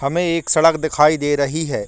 हमें एक सड़क दिखाई दे रही है।